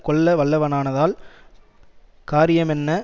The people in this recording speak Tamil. கொல்லவல்லவனானதால் காரியமெண்ண